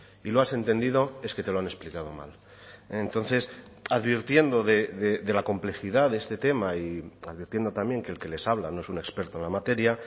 y lo has entendido es que te lo han explicado mal entonces advirtiendo de la complejidad de este tema y advirtiendo también que el que les habla no es un experto en la materia